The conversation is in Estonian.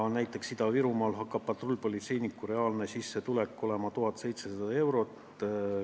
Näiteks Ida-Virumaal hakkab patrullpolitseiniku reaalne sissetulek olema 1700 eurot.